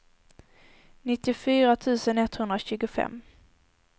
nittiofyra tusen etthundratjugofem